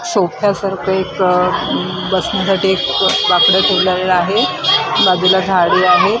सोफ्यासारखं एक बनण्यासाठी एक बाकडं ठेवलेलं आहे बाजूला झाडी आहे.